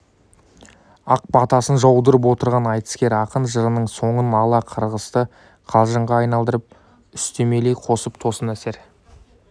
ақ батасын жаудырып отырған айтыскер ақын жырының соңын ала қарғысты қалжыңға айналдырып үстемелей қосып тосын әсер